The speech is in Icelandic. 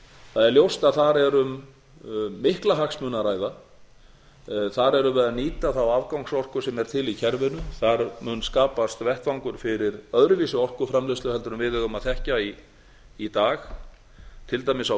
það er ljóst a þar er um mikla hagsmuni að ræða þar erum við að nýta þá afgangsorku sem er til í kerfinu þar mun skapast vettvangur fyrir öðruvísi orkuframleiðslu heldur en við eigum að þekkja í dag til dæmis á